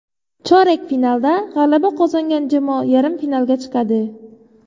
Chorak finalda g‘alaba qozongan jamoa yarim finalga chiqadi.